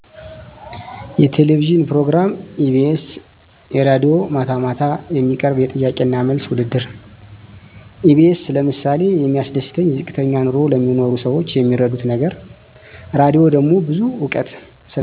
የቴሌቪዥን ፕሮግራም ኢቢኤስ የራድዬ ማታ ማታ የሚቀርብ የጥያቄና መልስ ውድድር ኢቢኤስ ለምሳሌ የሚያስደስተኝ ዝቅተኛ ኑሮ ለሚኖሩ ሰዎች የሚረዱት ነገር የራድሆ ደሞ ብዙ እውቀት ስለማገኝበት